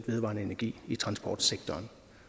vedvarende energi i transportsektoren